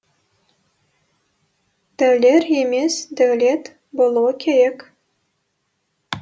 дәулер емес дәулет болуы керек